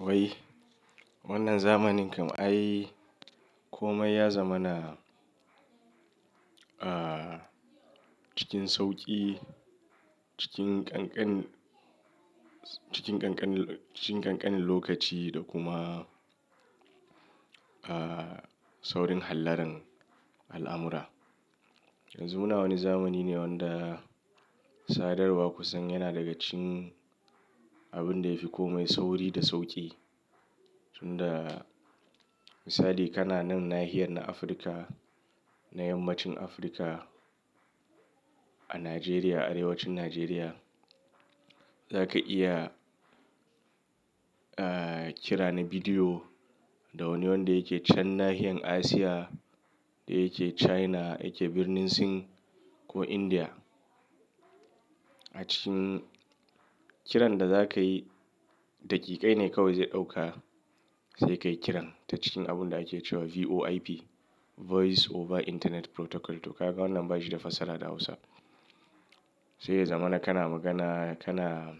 Wai wannan zamanin kam ai komai ya zama na, ah, cikin sauƙi, cikin ƙanƙan, cikin ƙanƙan, cikin ƙanƙanin lokaci da kuma, ah, saurin hallaran al'amura. Yanzu muna wani zamani ne wanda sadarwa kusan yana daga cikin abun da yafi komai sauri da sauƙi. Tun da misali kana nan nahiyar na Afirka, na yammacin Afirka a Najeriya, arewacin Najeriya, zaka iya, ah, kira na bidiyo da wani wanda yake can nahiyar Asiya da yake China, yake birnin Sin ko Indiya. A cikin kiran da zakayi daƙiƙai ne kawai zai ɗauka sai ka yi kiran ta cikin abun da ake cewa VoIP, Voice Over Internet Protocol. To kaga wannan bashi da fasala da Hausa. Sai ya zamana kana magana, kana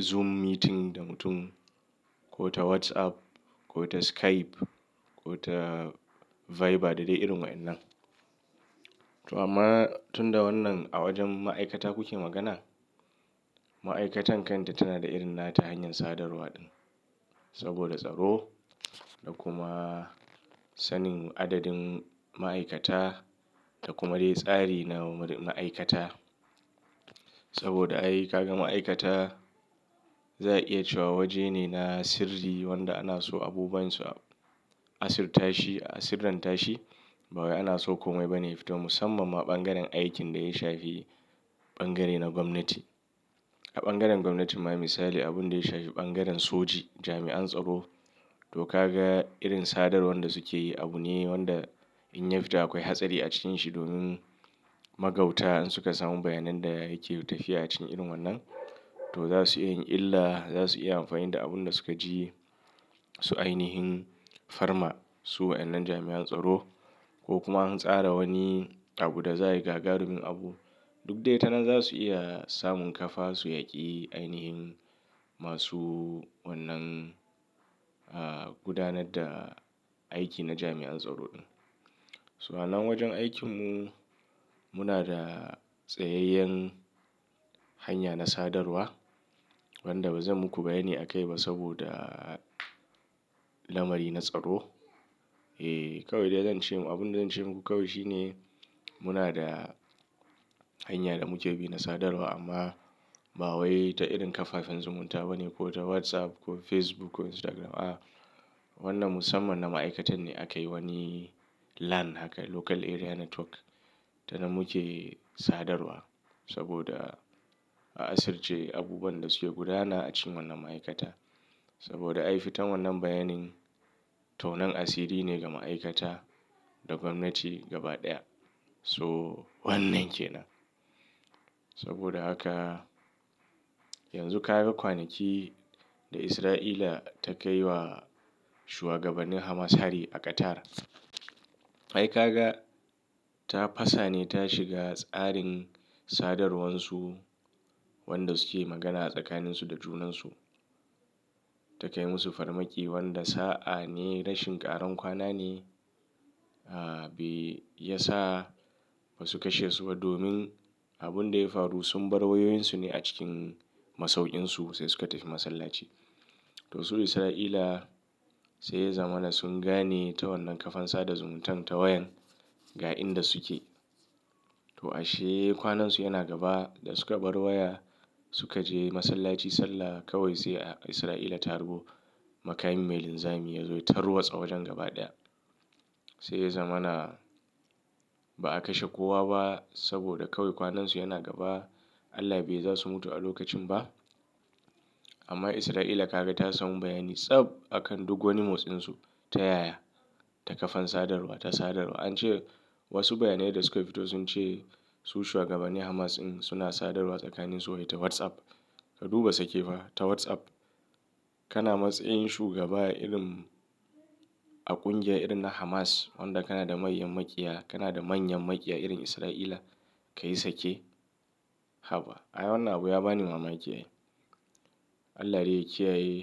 Zoom meeting da mutum ko ta WhatsApp ko ta Skype ko ta Viber da dai irin wa'ƴannan. To amma tun da wannan a wajen ma'aikata kuke magana, ma'aikatan kan ta tana da irin na ta hanyar sadarwa din saboda tsaro da kuma sanin adadin ma'aikata da kuma dai tsari na ma'aikata. Saboda ai kaga ma'aikata za a iya cewa waje ne na sirri wanda ana so abubuwan su a asirta shi, a sirran tashi. Bawayi ana so komai bane ya fito musamman ma ɓangaren aikin da ya shafi ɓangare na gwamnati. A ɓangaren gwamnatin ma misali abun da ya shafi ɓangaren soji, jami'an tsaro to kaga irin sadarwar da suke yi abu ne wanda in ya fita akwai hatsari a cikanshi domin magauta in suka samu bayanan da yake tafiya a cikin irin wannan. To za su iya in illa, za su iya amfani da abun da suka ji su ainihin farma su wa'ƴannan jami'an tsaro ko kuma an tsara wani abu da za yi gagarumin abu. Duk dai ta nan za su iya samun kafa su yaƙi ainihin masu wannan, ah, gudanar da aiki na jami'an tsaro din. To a nan wajen aikin mu muna da tsayayyen hanya na sadarwa wanda bazan muku bayyani a kai ba saboda lamari na tsaro. Eh, kawai dai zan ce mu, abin da zan ce muku kawai shine muna da hanya da muke bi na sadarwa amma bawai ta irin kafafen zumunta bane ko ta WhatsApp ko Facebook ko Instagram. A, wannan musamman na ma'aikatan ne aka yi wani LAN haka, Local Area Network ta nan muke sadarwa saboda a asirce abubuwan da suke gudana a cikin wannan ma'aikata. Saboda ai fitan wannan bayanin tonan asiri ne ga ma'aikata da gwamnati gaba ɗaya. So wannan kenan. Saboda haka yanzu kaga kwanaki da Isra'ila ta kai wa shuwagabannin Hamas hari a Qatar. Ai kaga ta fasa ne ta shiga tsarin sadarwar su wanda suke magana a tsakaninsu da junansu. Ta kai musu farmaki wanda sa'a ne rashin ƙaran kwana ne, ah, bai yasa ba su kashe su ba domin abun da ya faru sun bar wayoyin su ne a cikin masauƙin su sai suka tafi masallaci. To su Isra'ila sai ya zama na sun gane ta wannan kafan sada zumuntan ta wayan ga inda suke. To ashe kwanansu yana gaba da suka bar waya suka je masallaci sallah kawai sai a Isra'ila ta harbo makami mai linzami ya zo ya tarwatsa wajen gaba ɗaya. Sai ya zama na ba a kashe kowa ba saboda kawai kwanansu yana gaba. Allah bai yi za su mutu a lokacin ba. Amma Isra'ila kaga ta samu bayani tsab akan duk wani motsin su, ta yaya ta kafan sadarwa ta sadarwa. An ce wasu bayanai da suka fito sun ce su shuwagabannin Hamas ɗin suna sadarwa tsakanin su wai ta WhatsApp. Ka duba sake fa ta WhatsApp. Kana matsayin shugaba irin a ƙungiya irin na Hamas wanda kana da manyan maƙiya, kana da manyan maƙiya irin Isra'ila ka yi sake. Haba! Ai wannan abu ya bani mamaki. Allah dai ya kiyaye.